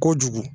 Kojugu